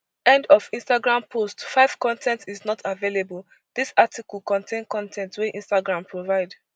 end of instagram post five con ten t is not available dis article contain con ten t wey instagram provide